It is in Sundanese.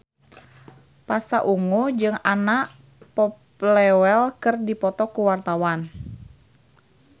Pasha Ungu jeung Anna Popplewell keur dipoto ku wartawan